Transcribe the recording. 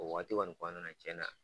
O wagati kɔni kɔnɔna na cɛnna